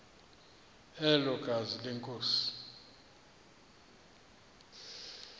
elo gazi lenkosi